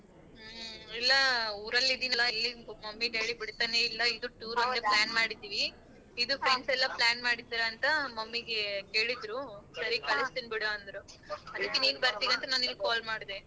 ಹ್ಮ ಇಲ್ಲ ಊರಲ್ಲಿದಿನಲ್ಲ ಇಲ್ಲಿಂದ್ mummy daddy ಬಿಡ್ತಾನೇ ಇಲ್ಲ ಇದು plan ಮಾಡಿದಿವಿ. friends ಎಲ್ಲಾ plan ಮಾಡಿದೀರಂತ mummy ಗೆ ಕೇಳಿದ್ರು ಸರಿ ಕಳ್ಸ್ತೀನ್ ಬಿಡು ಅಂದ್ರು.ಅದಕ್ಕೆ ಬರ್ತೀಯಾ ಅಂತ ನಾನ್ ನಿನಿಗ್ call ಮಾಡ್ದೇ.